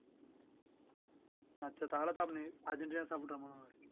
আচ্ছা তা হলে তো আপনি আর্জেন্টিনার supporter মনে হয়